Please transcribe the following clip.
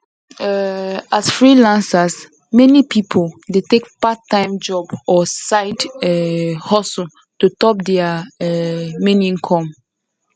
um as freelancers meni pipul dey take parttime jobs or side um hustles to top dia um main income